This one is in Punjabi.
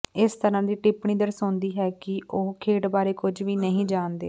ਇਸ ਤਰ੍ਹਾਂ ਦੀ ਟਿੱਪਣੀ ਦਰਸਾਉਂਦੀ ਹੈ ਕਿ ਉਹ ਖੇਡ ਬਾਰੇ ਕੁੱਝ ਵੀ ਨਹੀਂ ਜਾਣਦੇ